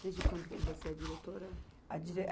Desde quando que você é diretora? A dire